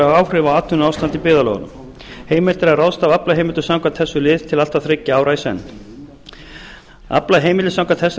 áhrif á atvinnuástand í byggðarlögunum heimilt er að ráðstafa aflaheimildum samkvæmt þessum lið til allt að þriggja ára í senn aflaheimildir samkvæmt þessari